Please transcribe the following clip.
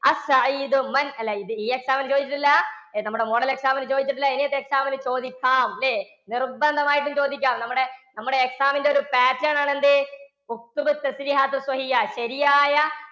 അല്ല ഈ exam ന് ചോദിച്ചിട്ടില്ല, നമ്മുടെ model exam ന് ചോദിച്ചിട്ടില്ല ഇനിയത്തെ exam ന് ചോദിക്കാം അല്ലേ? നിർബന്ധം ആയിട്ടും ചോദിക്കാം. നമ്മുടെ നമ്മുടെ exam ന്റെ ഒരു pattern ആണ് എന്ത്? ശരിയായ